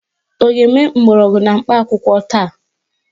Ọ ga-eme mgbọrọgwụ na mkpa akwụkwọ taa?